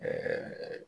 Ɛɛ